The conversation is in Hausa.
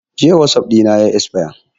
Jiya wasap ɗina yayi esfaya